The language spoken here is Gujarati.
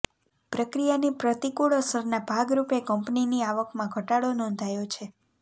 પ્રક્રિયાની પ્રતિકૂળ અસરના ભાગરૂપે કંપનીની આવકમાં ઘટાડો નોંધાયો છે